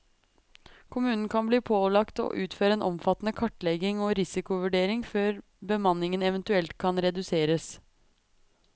Kommunen kan bli pålagt å utføre en omfattende kartlegging og risikovurdering før bemanningen eventuelt kan reduseres.